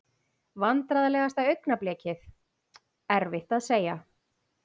Vandræðalegasta augnablik: Erfitt að segja.